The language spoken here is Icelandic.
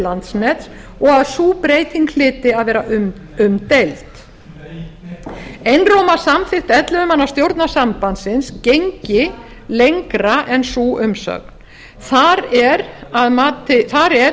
landsnets og að sú breyting hlyti að vera umdeild einróma samþykkt ellefu manna stjórnar sambandsins gengi lengra en sú umsögn þar er